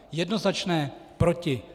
Jednoznačné proti.